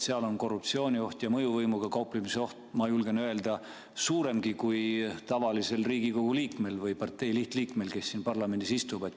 Seal on korruptsioonioht ja mõjuvõimuga kauplemise oht, ma julgen öelda, suuremgi kui tavalisel Riigikogu liikmel ehk partei lihtliikmel, kes siin parlamendis istub.